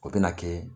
O bɛna kɛ